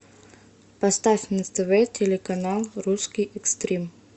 поставь на тв телеканал русский экстрим